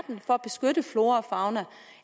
for at beskytte flora og fauna